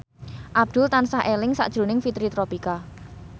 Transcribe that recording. Abdul tansah eling sakjroning Fitri Tropika